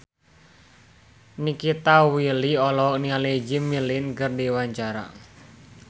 Nikita Willy olohok ningali Jimmy Lin keur diwawancara